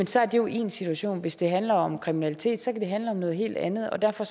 så er det jo én situation hvis det handler om kriminalitet så kan det handle om noget helt andet og derfor